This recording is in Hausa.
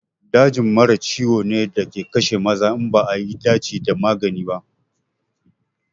Dajin mara ciwo ne da ke kashe maza in ba a yi dace da magani ba.